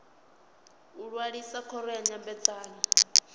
u ṅwalisa khoro ya nyambedzano